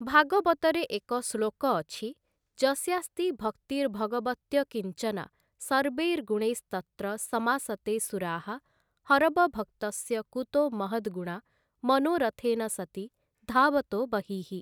ଭାଗବତରେ ଏକ ଶ୍ଳୋକ ଅଛି "ଯସ୍ୟାସ୍ତି ଭକ୍ତିର୍ଭଗବତ୍ୟକିଞ୍ଚନା ସର୍ବୈର୍ଗୁଣୈସ୍ତତ୍ର ସମାସତେ ସୁରାଃ ହରବଭକ୍ତସ୍ୟ କୁତୋ ମହଦ୍ଗୁଣା ମନୋରଥେନସତି ଧାବତୋ ବହିଃ ।"